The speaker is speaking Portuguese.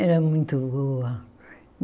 Era muito boa.